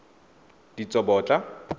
ditsobotla